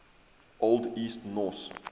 old east norse